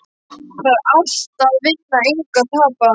Það er allt að vinna, engu að tapa!